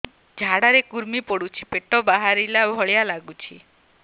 ଝାଡା ରେ କୁର୍ମି ପଡୁଛି ପେଟ ବାହାରିଲା ଭଳିଆ ଲାଗୁଚି